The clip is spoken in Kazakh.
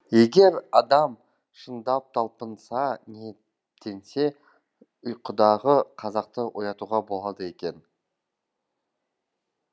егер адам шындап талпынса ниеттенсе ұйқыдағы қазақты оятуға болады екен